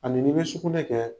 A ni ni bɛ sugunɛ kɛ